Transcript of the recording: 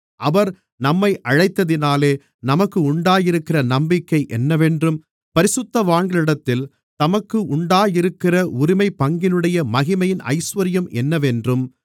அவர் நம்மை அழைத்ததினாலே நமக்கு உண்டாயிருக்கிற நம்பிக்கை என்னவென்றும் பரிசுத்தவான்களிடத்தில் தமக்கு உண்டாயிருக்கிற உரிமைப்பங்கினுடைய மகிமையின் ஐசுவரியம் என்னவென்றும்